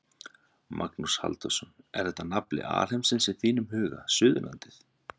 Magnús Halldórsson: Er þetta nafli alheimsins í þínum huga, Suðurlandið?